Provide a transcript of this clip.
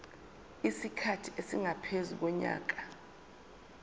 isikhathi esingaphezu konyaka